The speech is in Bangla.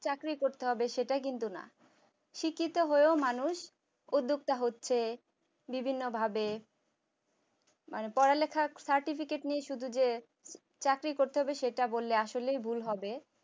চাকরি করতে হবে সেটা কিন্তু না শিক্ষিত হয়েও মানুষ উদ্যোক্তা হচ্ছে বিভিন্নভাবে পড়ালেখা certificate নিয়ে শুধু যে চাকরি করতে হবে সেটা বললে আসলেই ভুল হবে